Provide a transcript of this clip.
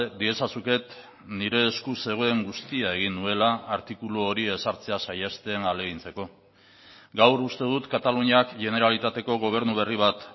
diezazuket nire esku zegoen guztia egin nuela artikulu hori ezartzea saihesten ahalegintzeko gaur uste dut kataluniak generalitateko gobernu berri bat